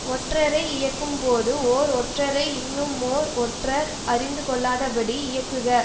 ஒற்றரை இயக்கும்போது ஓர் ஒற்றரை இன்னுமோர் ஒற்றர் அறிந்து கொள்ளாத படி இயக்குக